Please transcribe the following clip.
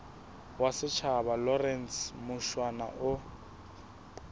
wa setjhaba lawrence mushwana o